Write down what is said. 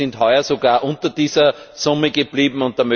Wir sind heuer sogar unter dieser Summe geblieben.